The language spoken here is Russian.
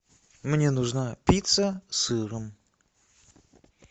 мне нужна пицца с сыром